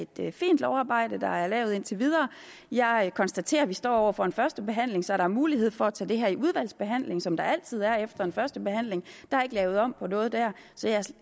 det er et fint lovarbejde der er lavet indtil videre jeg konstaterer at vi står over for en første behandling så der er mulighed for at tage det her under udvalgsbehandling som der altid er efter en første behandling der er ikke lavet om på noget der